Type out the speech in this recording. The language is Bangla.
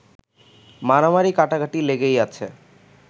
মারামারি-কাটাকাটি লেগেই আছে